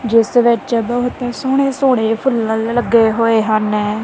ਜਿਸ ਵਿੱਚ ਬਹੁਤ ਹੀ ਸੋਹਣੇ ਸੋਹਣੇ ਫੁੱਲਰ ਲੱਗੇ ਹੋਏ ਹਨ।